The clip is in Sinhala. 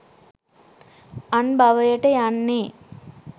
අන් භවයට යන්නේ